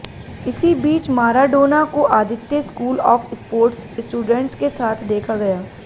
इसी बीच माराडोना को Aditya school of sports students के साथ देखा गया